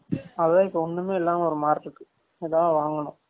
அதான் இப்ப ஒன்னுமே இல்லாம ஒரு மாரி இருக்கு ஏதாது வாங்கனும்